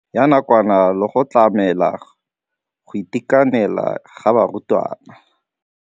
Ya nakwana le go tlamela go itekanela ga barutwana.